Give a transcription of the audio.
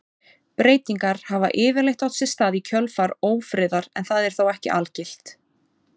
Breytingar hafa yfirleitt átt sér stað í kjölfar ófriðar en það er þó ekki algilt.